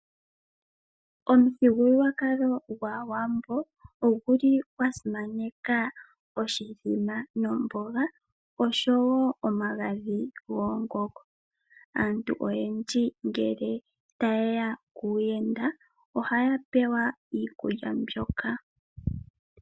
Omuthigululwakalo gwAawambo oguli gwasimaneka oshimbombo nomboga oshowo omagadhi goongongo. Aantu oyendji ngele taye ya kuuyenda ohaya pewa iikulya mbyoka.